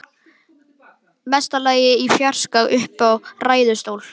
Mesta lagi í fjarska uppi í ræðustól.